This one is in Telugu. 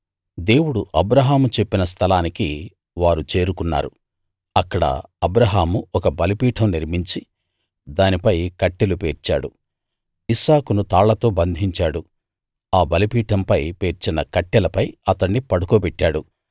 దేవుడు అబ్రాహాముకు చెప్పిన స్థలానికి వారు చేరుకున్నారు అక్కడ అబ్రాహాము ఒక బలిపీఠం నిర్మించి దానిపై కట్టెలు పేర్చాడు ఇస్సాకును తాళ్ళతో బంధించాడు ఆ బలిపీఠంపై పేర్చిన కట్టెలపై అతణ్ణి పడుకోబెట్టాడు